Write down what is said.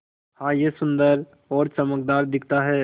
हाँ यह सुन्दर और चमकदार दिखता है